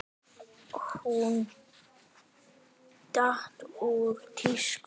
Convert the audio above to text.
Hún datt úr tísku.